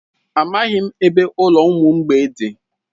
Amaghị m ebe ụlọ ụmụ mgbei dị.